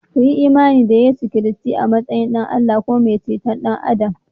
Kuyi imani da Yesu Kiristi a matsayin Ɗan Allah kuma mai ceton ’yan Adam